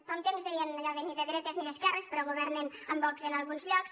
fa un temps deien allò de ni de dretes ni d’esquerres però governen amb vox en alguns llocs